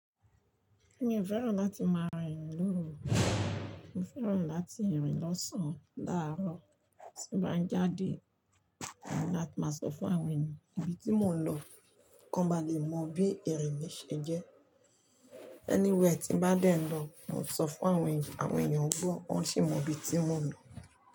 Èmi ò fẹ́ràn láti máa rìn lóru o, mo fẹ́ràn láti rìn lọ́sàn-án láàárọ̀ tí n bá ń jáde, mo ní láti máa sọ fún àwọn ènìyàn ibi tí mò ń lọ k'ọ́n ba lè mọ bí ìrìn mi ṣe jẹ́. Anywhere tí n bá dẹ̀ ń lọ, mò ń sọ fún àwọn èèyàn, àwọn èèyàn ń gbọ́, wọ́n sì mọ'bi tí mò ń lọ.